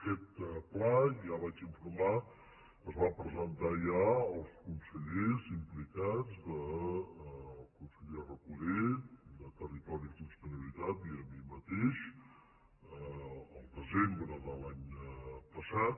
aquest pla ja en vaig informar es va presentar ja als consellers implicats al conseller recoder de territori i sostenibilitat i a mi mateix al desembre de l’any passat